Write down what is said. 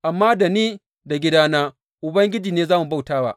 Amma da ni da gidana, Ubangiji ne za mu bauta wa.